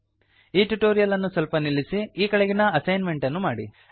ಈ ಟ್ಯುಟೊರಿಯಲ್ ಅನ್ನು ಸ್ವಲ್ಪ ನಿಲ್ಲಿಸಿ ಈ ಕೆಳಗಿನ ಅಸೈನ್ ಮೆಂಟ್ ಅನ್ನು ಮಾಡಿ